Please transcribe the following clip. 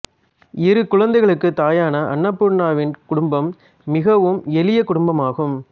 இரு குழந்தைகளுக்குத் தாயான அன்னபூர்னாவின் குடும்பம் மிகவும் எளிய குடும்பமாகும்